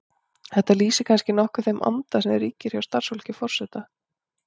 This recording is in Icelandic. Þetta lýsir kannski nokkuð þeim anda sem ríkir hjá starfsfólki forseta.